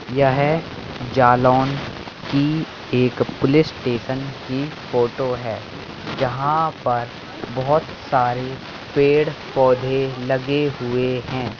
यह जालौन की एक पुलिस स्टेशन की फोटो है जहां पर बहुत सारे पेड़-पौधे लगे हुए है।